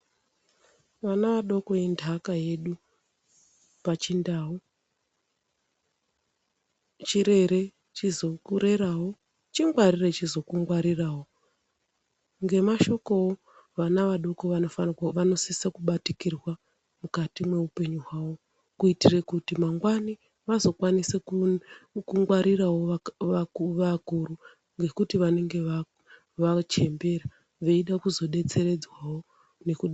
Ana adoko indaka yedu pachindau chedu chirere chizokurerawo chingwarire chizokungwarirawo ngemashokowo vana vadoko vanofa vanosisa kubatikirwa mukati meupenyu hwavo kuitira kuti mangwani vazokwanisa kuu kungwarirawo va vakuru ngekuti vanenge vachembera veide kuzo detseredzwawo.